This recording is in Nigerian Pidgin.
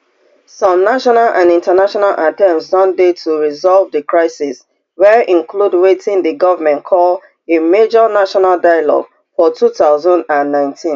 some national and international attempts don dey to resolve di crisis wey include wetin di goment call a major national dialogue for two thousand and nineteen